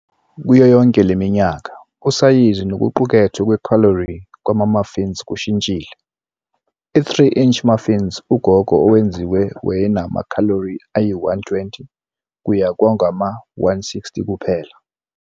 Kuyo yonke le minyaka, usayizi nokuqukethwe kwekhalori kwama-muffin kushintshile- i- "3-inch muffins ugogo owenziwe wayenama-calories ayi-120 kuye kwangama-160 kuphela.